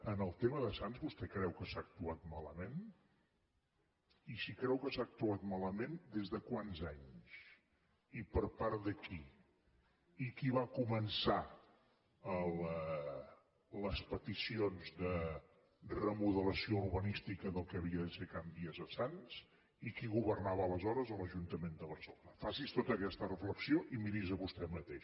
en el tema de sants vostè creu que s’ha actuat malament i si creu que s’ha actuat malament des de quants anys i per part de qui i qui va començar les peticions de remodelació urbanística del que havia de ser can vies a sants i qui governava aleshores a l’ajuntament de barcelona faci’s tota aquesta reflexió i miri’s a vostè mateix